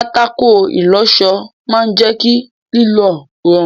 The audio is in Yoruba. Pátákó ìlọṣọ máa jẹ kí aṣọ lílọ̀ rọrùn.